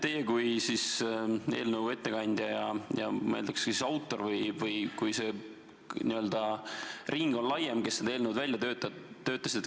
Teie olete eelnõu ettekandja ja ma eeldan, et ka üks autoritest, kui see ring on laiem, kes seda välja töötasid.